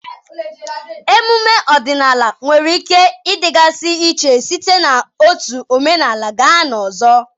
emume ọdịnala nwere ike ịdịgasị iche site n'otu omenala gaa n'ọzọ